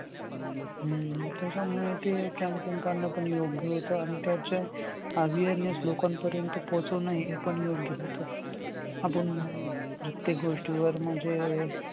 हम्म त्याच्यामुळे ते campaign काढणं पण योग्य होतं. आणि त्याचे awareness लोकांपर्यंत पोहचवणं हे पण योग्य होतं. आपण प्रत्येक गोष्टीवर म्हणजे